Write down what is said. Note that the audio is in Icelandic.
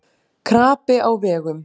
Krapi á vegum